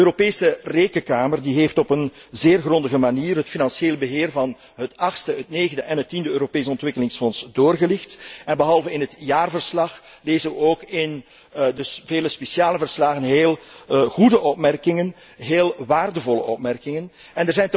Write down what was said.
De Europese Rekenkamer heeft op een zeer grondige manier het financieel beheer van het 8e, het 9e en het 10e Europees Ontwikkelingsfonds doorgelicht, behalve in het jaarverslag ook in de vele speciale verslagen, en heel goede opmerkingen, heel waardevolle opmerkingen gemaakt.